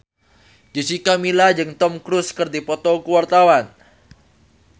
Jessica Milla jeung Tom Cruise keur dipoto ku wartawan